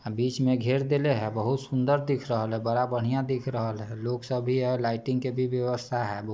अ बीच में घेर देले हैं बोहोत सुन्दर दिख रहल हैं बरा बढ़िया दिख रहल हैं लोग स भी हैं और लाइटिंग की भी व्यवस्था है।